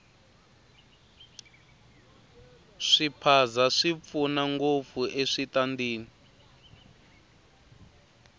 swiphaza swi pfuna ngopfu eswitandini